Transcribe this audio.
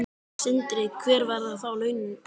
Sindri: Hver verða þá laun þín?